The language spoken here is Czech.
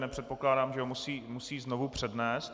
Nepředpokládám, že ho musí znovu přednést.